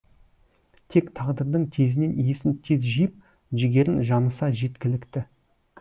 тек тағдырдың тезінен есін тез жиып жігерін жаныса жеткілікті